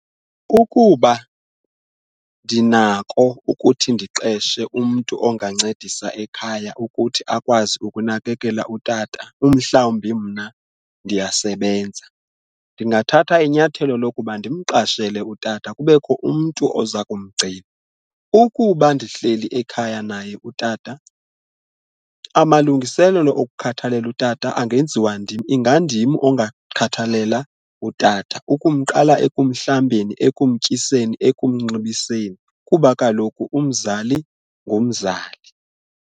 Ukuba ndinako ukuthi ndiqeshe umntu ongancedisa ekhaya ukuthi akwazi ukunakekela utata umhlawumbi mna ndiyasebenza, ndingathatha inyathelo lokuba ndimqashele utata kubekho umntu oza kumgcina ukuba ndihleli ekhaya naye utata amalungiselelo okukhathalela utata angenziwa ndim, ingandim ongakhathalela utata ukuqala ekuhlambeni, ekumtyiseni, ekumnxibiseni kuba kaloku umzali ngumzali.